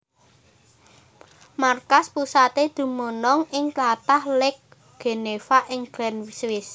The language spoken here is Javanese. Markas pusaté dumunung ing tlatah Lake Geneva ing Gland Swiss